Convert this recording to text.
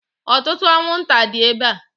Ọtụtụ anwụnta dị ebe a.